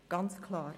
das ist ganz klar.